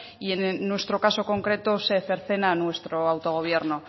y en nuestro caso concreto se cercena a nuestro autogobierno